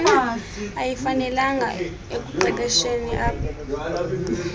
ayifanelekanga ekuqeqesheni ab